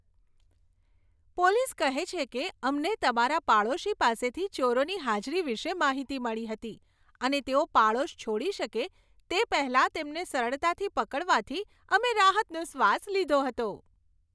Police કહે છે કે, અમને તમારા પાડોશી પાસેથી ચોરોની હાજરી વિશે માહિતી મળી હતી અને તેઓ પાડોશ છોડી શકે તે પહેલાં તેમને સરળતાથી પકડવાથી અમને રાહતનો શ્વાસ લીધો હતો.